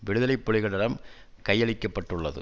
விடுதலை புலிகளிடம் கையளிக்கப்பட்டுள்ளது